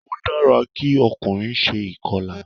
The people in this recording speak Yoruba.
Ó dára kí ọkùnrin se ìkọlà